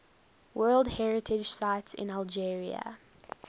world heritage sites in algeria